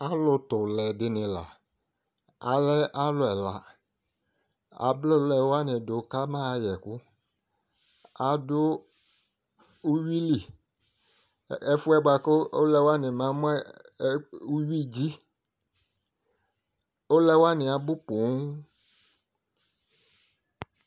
alo to oulɛ di ni la alɛ alo ɛla abla oulɛ wani ka ma ɣa yɛ ɛko ado uwili ɛfoɛ boa ko oulɛ wani ba mo uwi dzi oulɛ wani abo ponŋ